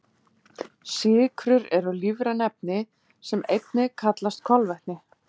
Sykrur eru lífræn efni sem einnig kallast kolvetni.